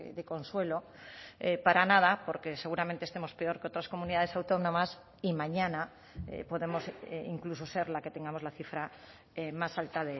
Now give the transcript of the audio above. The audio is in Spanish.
de consuelo para nada porque seguramente estemos peor que otras comunidades autónomas y mañana podemos incluso ser la que tengamos la cifra más alta